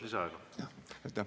Kolm minutit lisaaega.